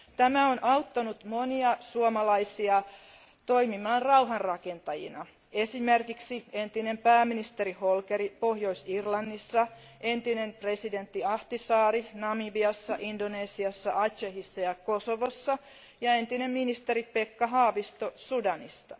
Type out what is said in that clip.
Tämä on auttanut monia suomalaisia toimimaan rauhanrakentajina, esimerkiksi entistä pääministeriä Holkeria Pohjois Irlannissa, entistä presidenttiä Ahtisaarta Namibiassa, Indonesiassa, Acehissa ja Kosovossa sekä entistä ministeriä Haavistoa Sudanissa.